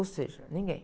Ou seja, ninguém.